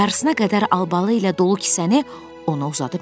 Yarısına qədər albalı ilə dolu kisəni ona uzadıb dedi: